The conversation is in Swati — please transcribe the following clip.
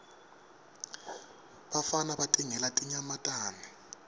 bafana batingela tinyamatane